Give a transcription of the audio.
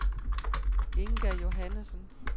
Inga Johannesen